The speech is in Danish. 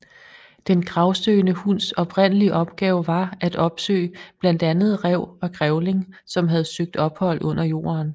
Den gravsøgende hunds oprindelige opgave var at opsøge blandt andet ræv og grævling som havde søgt ophold under jorden